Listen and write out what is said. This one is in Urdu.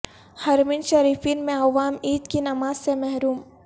حرمین شریفین میں عوام عید کی نماز سے محروم